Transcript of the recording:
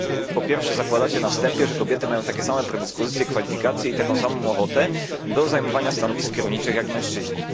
Po pierwsze, zakładacie się na wstępie, że kobiety mają takie same predyspozycje, kwalifikacje i taką samą ochotę do zajmowania stanowisk kierowniczych jak mężczyźni.